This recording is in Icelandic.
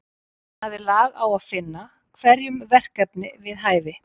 Hann hafði lag á að finna hverjum verkefni við hæfi.